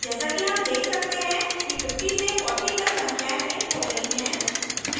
जैसा कि हम देख सकते हैं कि 50 से 40 तक संख्याएं printed हो गई हैं